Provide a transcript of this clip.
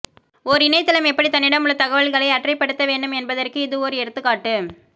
ஓர் இணைய தளம் எப்படி தன்னிடம் உள்ள தகவல்களை அற்றைப் படுத்த வேண்டும் என்பதற்கு இது ஓர் எடுத்துக் காட்டு